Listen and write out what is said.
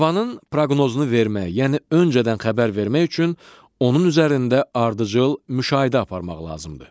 Havanın proqnozunu vermək, yəni öncədən xəbər vermək üçün onun üzərində ardıcıl müşahidə aparmaq lazımdır.